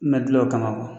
Ma gilan o kama